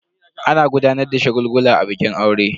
Ana gudanar da shagulgula a bikin aure.